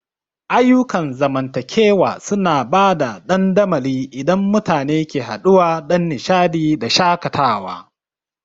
Ayyukan zamantakewa suna ba da dandamali inda mutane ke haɗuwa don nishaɗi da shakatawa.